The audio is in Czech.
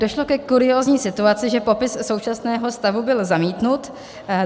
Došlo ke kuriózní situace, že popis současného stavu byl zamítnut.